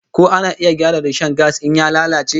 Ko ana iya gyara rishon gas in ya lalace?